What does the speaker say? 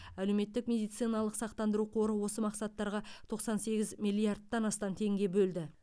әлеуметтік медициналық сақтандыру қоры осы мақсаттарға тоқсан сегіз миллиардтан астам теңге бөлді